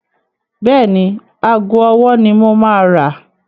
Bẹ́ẹ̀ni, ago ọwọ́ ni mo máa rà.